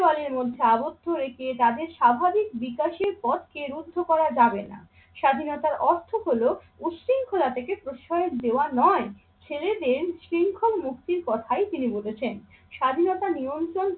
চার দেওয়ালের মধ্যে আবদ্ধ রেখে তাদের স্বাভাবিক বিকাশের পথকে রুদ্ধ করা যাবে না। স্বাধীনতার অর্থ হলো উৎশৃঙ্খলা থেকে প্রশ্রয় দেওয়া নয়। ছেলেদের শৃঙ্খল মুক্তির কথাই তিনি বলেছেন। স্বাধীনতা নিয়ন্ত্রণ